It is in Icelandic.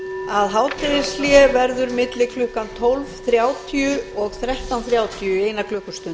að hádegishlé verður milli klukkan tólf þrjátíu og þrettán þrjátíu í eina klukkustund